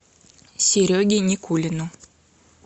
сереге никулину